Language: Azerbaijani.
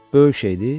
Böyük şeydi.